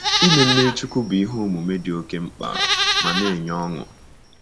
Ime mmiri chukwu bụ ihe omume dị oke mkpa ma na-enye ọṅụ.